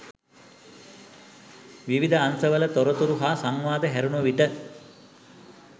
විවිධ අංශවල තොරතුරු හා සංවාද හැරුණු විට